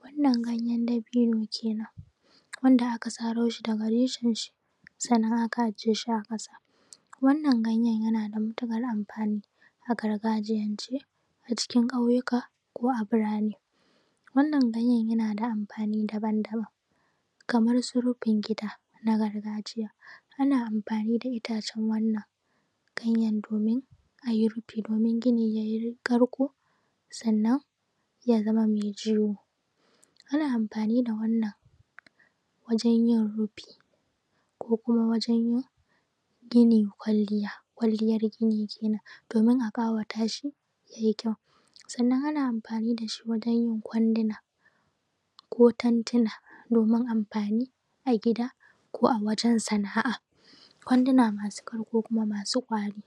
wannan ganyen dabino kenan wanda aka saro shi daga reshen shi sannan aka ajiye shi a ƙasa wannan ganyen Yana da mutuƙar amfani a gargajiyance a ƙauyuka ko burane. wannan ganyen yana da amfani daban-daban kamar su rufin gida na gargajiya. Ana amfani da itacen domin a yi rufin mai karko sannan ya zamani jewo. Ana amfani da wannan wajen yin rufin ko kuma wajen yin ma gini kwalliya domin a ƙawata shi ya yi ƙyau. sannan Ana amfani da shi wajen yin kwandunako tantina domin amfani a gida ko a wajen Sana'a. kwanduna masu ƙyau ko kuma masu ƙwari.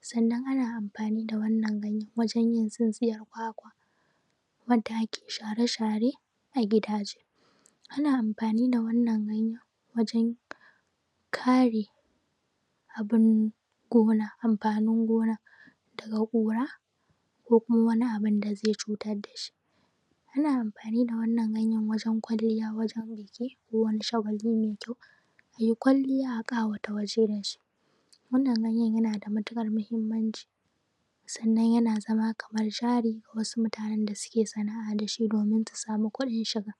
sannan Ana amfani wajen yin tsintsiyar kwakwa Wanda akai share-share a gida. Ana amfani da wannan ganyen wajen kare amfanin gona daga kura ko kuma Wani abun da zai cutar da shi. Ana amfani da wannan wajen kwalliya ko biki ko Wani wajen mai ƙyau ya yi kwalliya a ƙawata wajen da shi. wannan ganyen Yana da mutuƙar muhimmaci sannan Yana zama kamar jari ga wasu mutane da suke Sana'a da shi domin su sama kuɗin shiga.